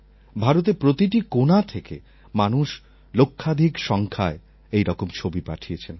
ভারতের প্রতিটি কোণা থেকে মানুষ লক্ষাধিক সংখ্যায় এইরকম ছবি পাঠিয়েছেন